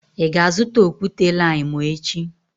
Ị ga-azụta okwute-limu echi?